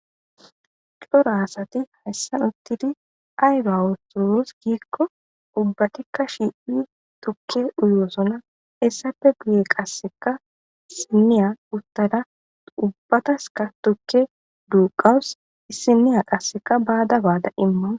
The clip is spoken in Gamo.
coro asati hayssan uttidi ayro awusuos giikko ubbatikka shipi tukke uyoosona essape guye qasseka isiniya uttada ubbataska tukke duuqawus issiniya qasseka baada baada imman